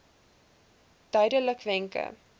duidelikwenke